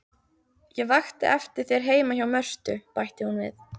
Ég vakti eftir þér heima hjá Mörtu, bætti hún við.